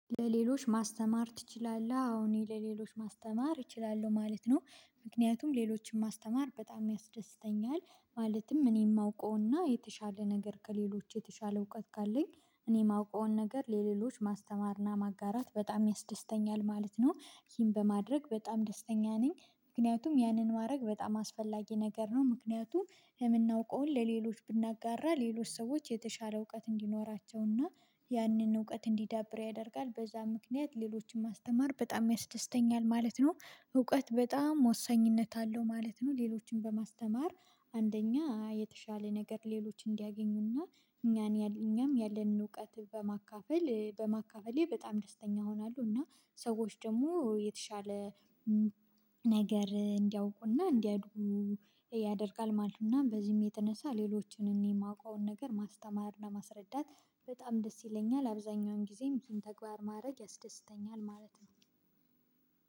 ለሌሎች ማስተማር ትችላለህ አወን ለሌሎች ማስተማር እችላለሁ ማለት ነው ምክንያቱም ሌሎችን ማስተማር በጣም ያስደስተኛል ማለትም እኔ የማውቀውና የተሻለ ነገር ከሌሎች የተሻለ እውቀት ካለኝ እኔ ማውቀውን ነገር ለሌሎች ማስተማርና ማጋራት በጣም ያስደስተኛል ማለት ነው። ይህን በማድረግ በጣም ደስተኛ ነኝ ምክንያቱም ያንን ማድረግ በጣም አስፈላጊ ነገር ነው። ምክንያቱም የምናውቀውን ለሌሎች ብናጋራ ሌሎች ሰዎች የተሻለ እውቀት እንዲኖራቸውና ያንን እውቀት እንዲዳብር ያደርጋል በዛ ምክንያት ሌሎችን ማስተማር በጣም ያስደስተኛል ማለት ነው። እውቀት በጣም ወሳኝነት አለው ማለት ነው። ሌሎችን በማስተማር አንደኛ የተሻለ ነገር ሌሎች እንዲያገኙና እኛን ያለንን እውቀት በማካፈል በማካፈሌ በጣም ደስተኛ ሆናለሁ። እና ሰዎች ደግሞ የተሻለ ነገር እንዲያውቁና እንዲያድጉ ያደርጋል ማለት ነውና። በዚህም የተነሳ ሌሎችን የማውቀውን ነገር ማስተማር ማስረዳት በጣም ደስ ይለኛል አብዛኛውን ጊዜም ይህን ተግባር ማድረግ ያስደስተኛል ማለት ነው።